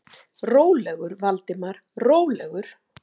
Rólegur, Valdimar, rólegur.